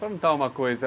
Vou perguntar uma coisa.